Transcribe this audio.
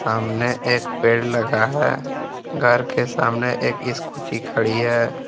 सामने एक पेड़ लगा है घर के सामने एक स्कूटी खड़ी है।